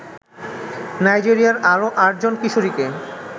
নাইজেরিয়ার আরও আটজন কিশোরীকে